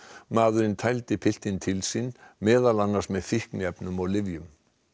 maðurinn tældi piltinn til sín meðal annars með fíkniefnum og lyfjum